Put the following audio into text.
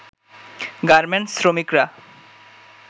garments শ্রমিকরা